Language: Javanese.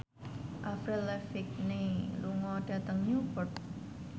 Avril Lavigne lunga dhateng Newport